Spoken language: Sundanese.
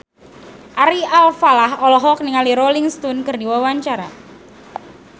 Ari Alfalah olohok ningali Rolling Stone keur diwawancara